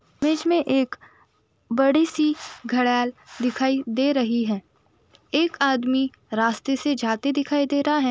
बिच में एक बड़ी सी घडैल दिखाई दे रही है एक आदमी रास्ते से जाते दिखाई दे रहा है।